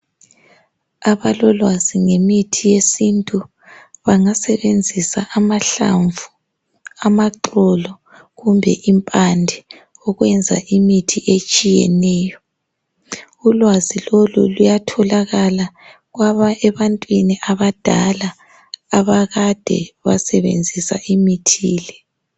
Abalolwazi ngemithi yesintu bangasebenzisa amahlamvu, amaxolo kumbe impande ukwenza imithi etshiyeneyo. Ulwazi lolu luyatholakala ebantwini abadala abakade basebenzisa imithi le.